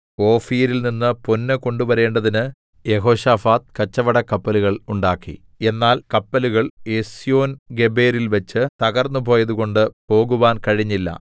ഓഫീരിൽ നിന്ന് പൊന്ന് കൊണ്ടുവരേണ്ടതിന് യെഹോശാഫാത്ത് കച്ചവടക്കപ്പലുകൾ ഉണ്ടാക്കി എന്നാൽ കപ്പലുകൾ എസ്യോൻഗേബെരിൽവെച്ച് തകർന്നുപോയതുകൊണ്ട് പോകുവാൻ കഴിഞ്ഞില്ല